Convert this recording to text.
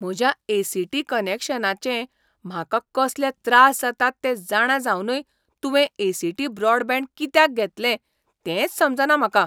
म्हज्या A. C. T. कनॅक्शनाचे म्हाका कसले त्रास जातात तें जाणां जावनय तुवें ए. सी. टी. ब्रॉडबँड कित्याक घेतलें तेंच समजना म्हाका.